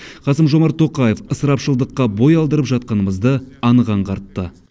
қасым жомарт тоқаев ысырапшылдыққа бой алдырып жатқанымызды анық аңғартты